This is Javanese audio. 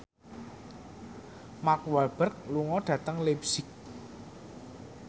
Mark Walberg lunga dhateng leipzig